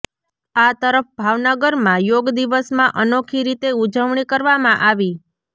આ તરફ ભાવનગરમાં યોગ દિવસમાં અનોખી રીતે ઉજવણી કરવામાં આવી